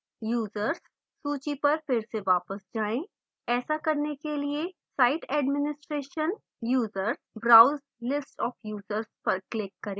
users सूची पर फिर से वापस जाएँ